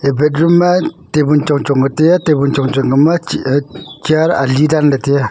eya bed room ma table chong chong ka taiya table chong chong kama chih e chair ali danlahe taiya.